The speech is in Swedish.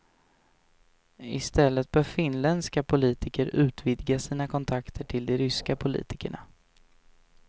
I stället bör finländska politiker utvidga sina kontakter till de ryska politikerna.